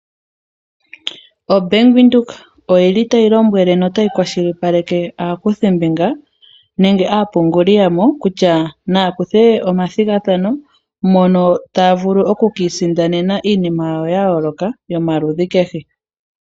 OBank Windhoek oyili tayi lombwele notayi kwashilipaleke aakuthimbinga nenge aapunguli yamo kutya naakuthe omathigathano mono taya vulu oku ki isindanena iinima yawo ya yoloka yomaludhi kehe.